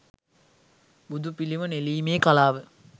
බුදුපිළිම නෙළීමේ කලාව